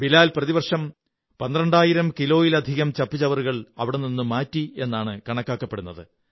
ബിലാൽ പ്രതിവര്ഷംപ പന്ത്രണ്ടായിരം കിലോയിലധികം ചപ്പുചവറുകൾ അവിടെ നിന്നു മാറ്റി എന്നാണ് കണക്കാക്കപ്പെടുന്നത്